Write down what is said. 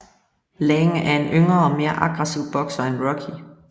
Lang er en yngre og mere aggressiv bokser end Rocky